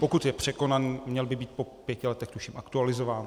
Pokud je překonaný, měl by být po pěti letech, tuším, aktualizován.